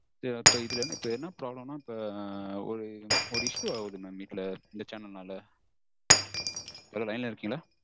இது இப்போ இதுல என்ன problem னா இப்போ ஒரு issue ஆகுது mam வீட்ல இந்த channel ஆல hello line ல இருக்கீங்களா?